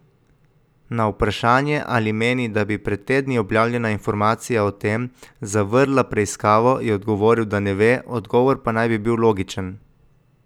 Na vprašanje ali meni, da bi pred tedni objavljena informacija o tem, zavrla preiskavo, je odgovoril, da ne ve, odgovor pa naj bi bil logičen.